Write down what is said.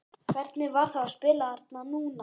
Hvernig var þá að spila þarna núna?